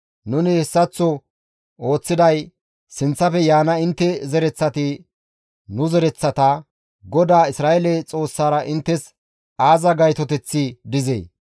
Nuni hessaththo ooththiday sinththafe yaana intte zereththati nu zereththata, ‹GODAA Isra7eele Xoossara inttes aaza gaytoteththi dizee?